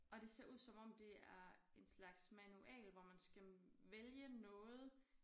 Og det ser ud om det er en slags manual hvor man skal vælge noget